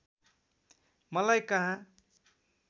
मलाई कहाँ